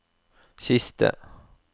siste